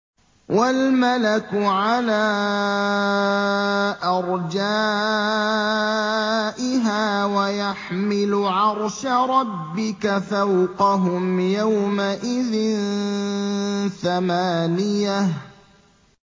وَالْمَلَكُ عَلَىٰ أَرْجَائِهَا ۚ وَيَحْمِلُ عَرْشَ رَبِّكَ فَوْقَهُمْ يَوْمَئِذٍ ثَمَانِيَةٌ